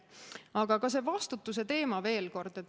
Aga ka vastutuse teema veel kord.